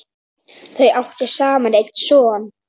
Þau áttu saman einn son.